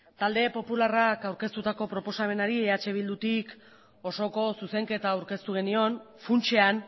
talde popularrak aurkeztutako proposamenari eh bildutik osoko zuzenketa aurkeztu genion funtsean